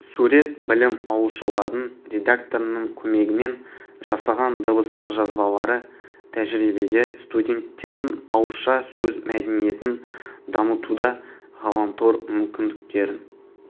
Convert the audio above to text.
сурет білім аулшылардың редакторының көмегімен жасаған дыбыстық жазбалары тәжірибеде студенттердің ауызша сөз мәдениетін дамытуда ғаламтор мүмкіндіктерін